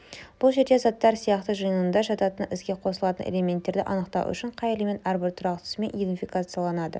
бұл жерде аттар сияқты жиынында жататын іске қосылатын элементтерді анықтау үшін қай элемент әрбір тұрақтысымен идентификацияланады